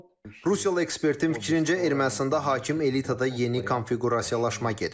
Rusiyalı ekspertin fikrincə, Ermənistanda hakim elitada yeni konfiqurasiyalaşma gedib.